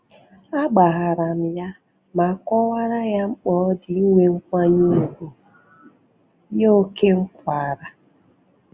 A gbaharam ya ma kọwara ye mkpa odi inwe nkwanye ugwu ye ókè m kwara